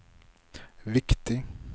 viktig